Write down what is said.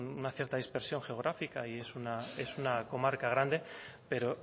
una cierta dispersión geográfica y es una comarca grande pero